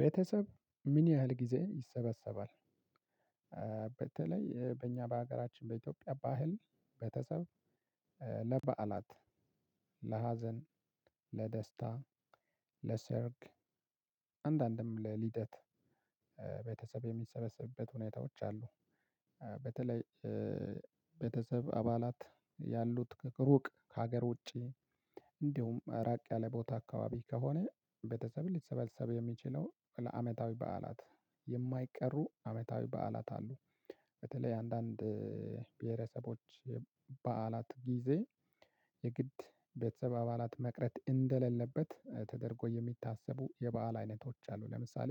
ቤተሰብ ምን ያህል ጊዜ ይሰበሰባል? በተለይ በእኛ በሀገራችን በኢትዮጵያ ባህል ቤተሰብ ለበዓላት ለሀዘን ለደስታ ለሰርግ አንዳንድም ለልደት ቤተሰብ የሚሰበሰብበት ሁኔታዎች አሉ። በተለይ ቤተሰብ አባላት ያሉት ሩቅ ከሀገር ውጪ እንዲሁም ራቅ ያለ ቦታ አካባቢ ከሆነ ቤተሰብ ሊሰበሰብ የሚችለው ለአመታዊ በዓላት የማይቀሩ አመታዊ በዓላት አሉ። በተለይ አንዳንድ ብሄረሰቦች በዓላት ጊዜ የግድ ቤተሰብ አባላት መቅረት እንደሌለበት ተደርጎ የሚታሰቡ የበአል አይነቶች አሉ ለምሳሌ